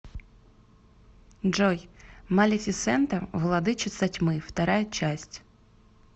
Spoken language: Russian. джой малефисента владычица тьмы вторая часть